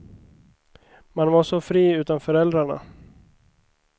Man var så fri utan föräldrarna.